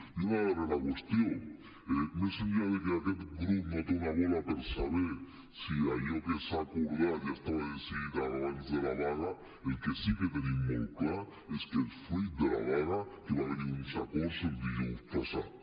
i una darrera qüestió més enllà de que aquest grup no té una bola per saber si allò que s’ha acordat ja estava decidit abans de la vaga el que sí que tenim molt clar és que és fruit de la vaga que va haver hi uns acords dijous passat